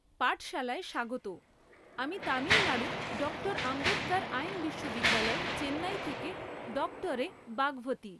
পাঠশালায় স্বাগত! আমি তামিলনাড়ু ডক্টর আম্বেদকর আইন বিশ্ববিদ্যালয় চেন্নাই থেকে ডক্টর এ বাগভথী।